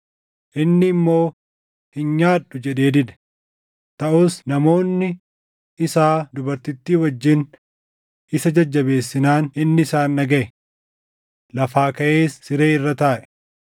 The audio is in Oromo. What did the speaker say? Inni immoo, “Hin nyaadhu” jedhee dide. Taʼus namoonni isaa dubartittii wajjin isa jajjabeessinaan inni isaan dhagaʼe. Lafaa kaʼees siree irra taaʼe.